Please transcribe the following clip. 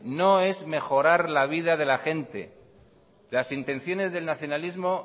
no es mejorar la vida de la gente las intenciones del nacionalismo